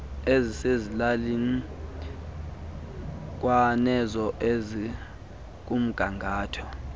ezisezilalini kwanezo zikumgangatho